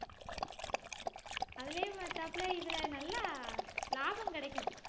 அதுலயும் பாத்தாப்புல இதுல நல்லா லாபம் கிடைக்கும்